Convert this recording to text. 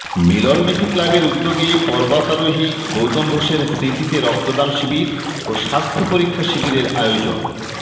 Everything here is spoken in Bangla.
মিলনবীথি ক্লাবের উদ্যোগে পর্বতারোহী গৌতম ঘোষের স্মৃতিতে রক্তদান শিবির ও স্বাস্থ্য পরীক্ষা শিবিরের আয়োজন